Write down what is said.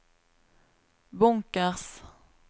bunkers